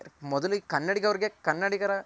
ಮೊದ್ಲಿಗ್ ಕನ್ನಡಿಗರ್ಗೆ ಕನ್ನಡಿಗರ